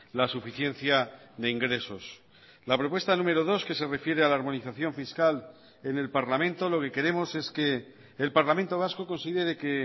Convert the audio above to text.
la suficiencia de ingresos la propuesta número dos que se refiere a la armonización fiscal en el parlamento lo que queremos es que el parlamento vasco considere que